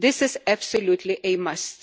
This is absolutely a must.